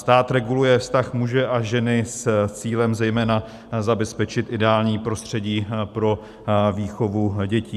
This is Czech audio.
Stát reguluje vztah muže a ženy s cílem zejména zabezpečit ideální prostředí pro výchovu dětí.